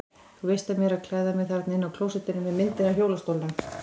Þú veist af mér að klæða mig þarna inni á klósettinu með myndinni af hjólastólnum.